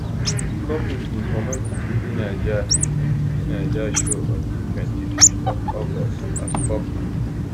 di couple bin comot di bbnaija di bbnaija show on di 25th of august as couple